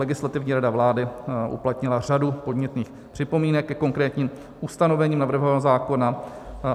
Legislativní rada vlády uplatnila řadu podnětných připomínek ke konkrétním ustanovením navrhovaného zákona.